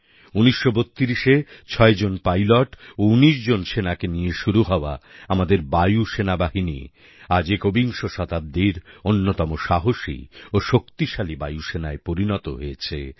১৯৩২এ ছয়জন পাইলট ও ১৯ জন সেনাকে নিয়ে শুরু হওয়া আমাদের বায়ু সেনাবাহিনী আজ একবিংশ শতাব্দীর অন্যতম সাহসী ও শক্তিশালী বায়ুসেনায় পরিনত হয়েছে